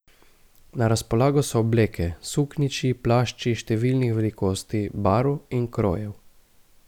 Na razpolago so obleke, suknjiči, plašči številnih velikosti, barv in krojev.